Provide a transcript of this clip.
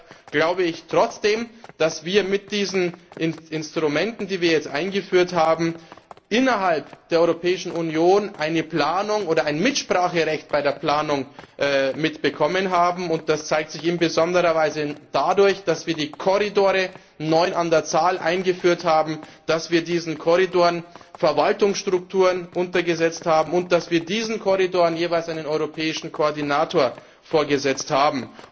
Deshalb glaube ich trotzdem, dass wir mit diesen Instrumenten, die wir jetzt innerhalb der Europäischen Union eingeführt haben, ein Mitspracherecht bei der Planung mitbekommen haben, und das zeigt sich insbesondere dadurch, dass wir die Korridore neun an der Zahl eingeführt haben, dass wir diesen Korridoren Verwaltungsstrukturen untergesetzt haben, und dass wir diesen Korridoren jeweils einen europäischen Koordinator vorgesetzt haben.